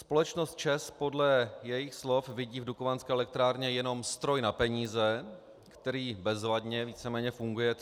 Společnost ČEZ podle jejích slov vidí v dukovanské elektrárně jenom stroj na peníze, který bezvadně, víceméně, funguje 30 let.